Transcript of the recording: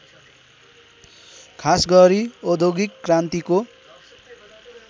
खासगरी औद्योगिक क्रान्तिको